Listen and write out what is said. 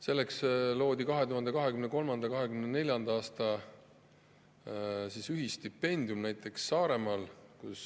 Seetõttu loodi 2023/24. aastal stipendiumid näiteks Saaremaal.